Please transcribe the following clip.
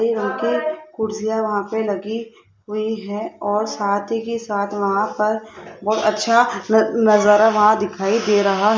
कुर्सियां वहां पे लगी हुई है और साथ ही साथ वहां पर बहोत अच्छा न नजारा वहां दिखाई दे रहा--